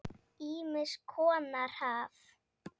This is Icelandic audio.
Ýmiss konar haf.